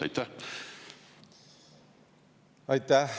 Aitäh!